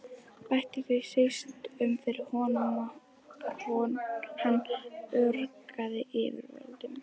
Bætti það síst um fyrir honum, að hann ögraði yfirvöldum.